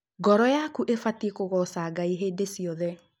ngoro yaku ibatiĩ kũgoca Ngai Hĩndĩ ciothe.